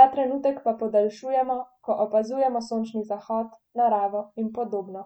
ta trenutek pa podaljšujemo, ko opazujemo sončni zahod, naravo in podobno.